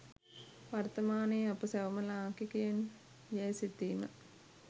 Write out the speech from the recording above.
වර්තමානයේ අප සැවොම ලාංකිකයින් යැයි සිතීම